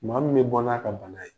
Maa min bɛ bɔ n'a ka bana ye.